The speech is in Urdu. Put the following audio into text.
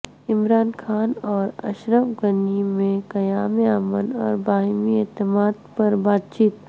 عمران خان اور اشرف غنی میں قیام امن اور باہمی اعتماد پر بات چیت